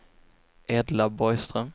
Edla Borgström